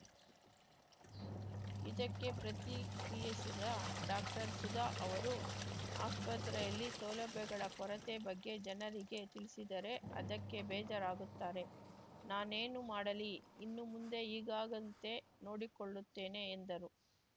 ಇದಕ್ಕೆ ಪ್ರತಿಕ್ರಿಯಿಸಿದ ಡಾಕ್ಟರ್ಸುಧಾ ಅವರು ಆಸ್ಪತ್ರೆಯಲ್ಲಿ ಸೌಲಭ್ಯಗಳ ಕೊರತೆ ಬಗ್ಗೆ ಜನರಿಗೆ ತಿಳಿಸಿದರೆ ಅದಕ್ಕೆ ಬೇಜರಾಗುತ್ತಾರೆ ನಾನೇನು ಮಾಡಲಿ ಇನ್ನು ಮುಂದೆ ಈಗಾಗಂತೆ ನೋಡಿಕೊಳ್ಳುತ್ತೇನೆ ಎಂದರು